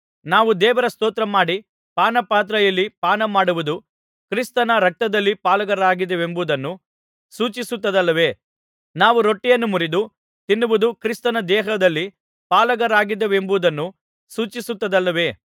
ನಾವು ದೇವರ ಸ್ತೋತ್ರಮಾಡಿ ಪಾನಪಾತ್ರೆಯಲ್ಲಿ ಪಾನ ಮಾಡುವುದು ಕ್ರಿಸ್ತನ ರಕ್ತದಲ್ಲಿ ಪಾಲುಗಾರರಾಗಿದ್ದೇವೆಂಬುದನ್ನು ಸೂಚಿಸುತ್ತದಲ್ಲವೇ ನಾವು ರೊಟ್ಟಿಯನ್ನು ಮುರಿದು ತಿನ್ನುವುದು ಕ್ರಿಸ್ತನ ದೇಹದಲ್ಲಿ ಪಾಲುಗಾರರಾಗಿದ್ದೇವೆಂಬುದನ್ನು ಸೂಚಿಸುತ್ತದಲ್ಲವೇ